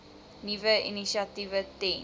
nuwe initiatiewe ten